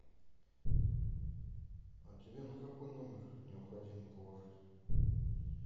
а тебе на какой номер необходимо положить